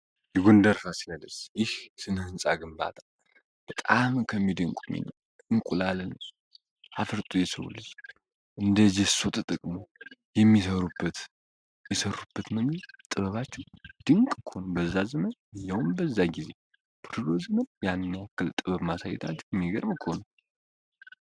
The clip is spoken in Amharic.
የጎንደር ፋሲለደስ ይህ ስንህንፃ ግንባታ በጣዓመ ከሚድንቁ እንቁላለን አፍርጡ የሰውልጅ እንደ ጀሶ ተጠቅሞ የሚሩበት የሠሩበት መምር ጥበባችሁ ድንቅ ክሆኑ በዛ ዘመን ያውን በዛ ጊዜ ፕሎዝንም ያኛክል ጥበብ ማሳይታችሁ የሚገርም ከሆኑ